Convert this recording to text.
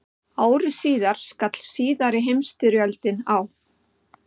Ári síðar skall síðari heimsstyrjöldin á.